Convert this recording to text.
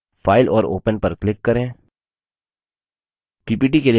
ppt के लिए browse जिस file को आप open करना चाहते हैं